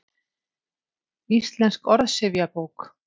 Íslensk orðsifjabók.